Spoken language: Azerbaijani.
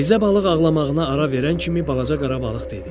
Riza balıq ağlamağına ara verən kimi balaca qara balıq dedi: